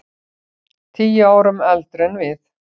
Tíu árum eldri en við.